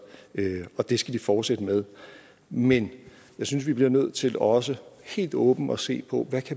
og det skal vi fortsætte med men jeg synes vi bliver nødt til også helt åbent at se på hvad